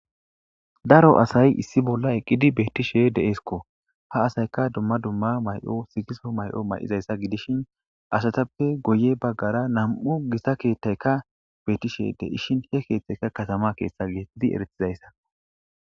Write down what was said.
Daro asay issi bolla eqqidi beettishe deesikko ha asayka dumma dumma may7o sigiso may7o may7izayssa gidishin asatappe goye baggara nam7u gisa keethtayka beettishe deishin he keeththeyka katama keeththa gqidi eretizayssako.